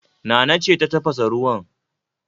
Nana ce ta tafasa ruwan